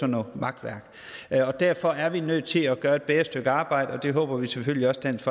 noget makværk derfor er vi nødt til at gøre et bedre stykke arbejde og det håber vi selvfølgelig også dansk